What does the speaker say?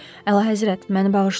Əla həzrət, məni bağışlayın.